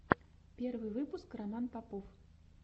первый выпуск роман попов